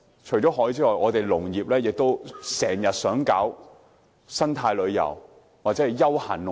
除了海之外，我們也很想推廣生態旅遊或休閒農業。